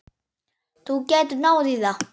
Þú getur náð í það.